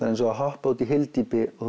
er eins og að hoppa út í hyldýpi og